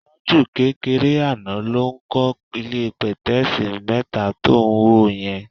Tájù kékeré àná ló ń kọ́ ilé pẹ̀tẹ́ẹ̀sì mẹ́ta tó ń wò yẹn.